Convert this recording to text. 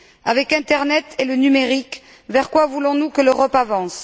Avec l'internet et le numérique, vers quoi voulons nous que l'Europe avance?